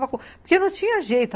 Porque não tinha jeito.